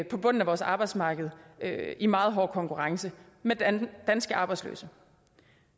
på bunden af vores arbejdsmarked i meget hård konkurrence med danske arbejdsløse